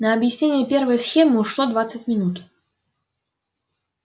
на объяснение первой схемы ушло двадцать минут